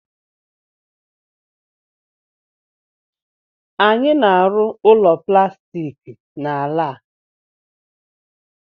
Anyị na-arụ ụlọ plastiki n'ala a